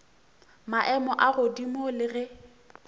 maemo a godimo le ge